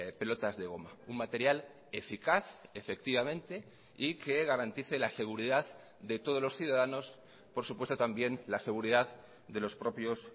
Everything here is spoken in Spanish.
pelotas de goma un material eficaz efectivamente y que garantice la seguridad de todos los ciudadanos por supuesto también la seguridad de los propios